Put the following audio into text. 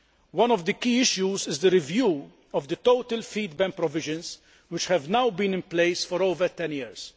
One of the key issues is the review of the total feed ban provisions, which have now been in place for over 10 years.